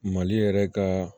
Mali yɛrɛ ka